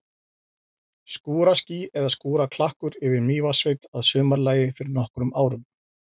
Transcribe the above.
Skúraský eða skúraklakkur yfir Mývatnssveit að sumarlagi fyrir nokkrum árum.